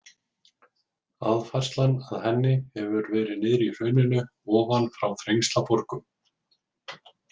Aðfærslan að henni hefur verið niðri í hrauninu ofan frá Þrengslaborgum.